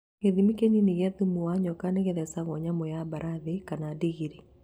Gĩthimi kĩnini kĩa thumu wa nyoka nĩĩthecagwo nyamũ ya mbarathi kana ndigiri